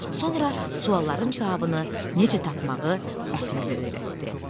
Sonra sualların cavabını necə tapmağı Əhmədə öyrətdi.